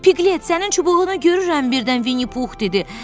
Piglet, sənin çubuğunu görürəm, birdən Vinni Pux dedi.